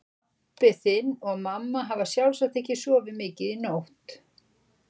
Og pabbi þinn og mamma hafa sjálfsagt ekki sofið mikið í nótt.